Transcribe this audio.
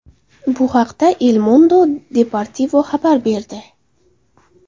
Bu haqda El Mundo Deportivo xabar berdi .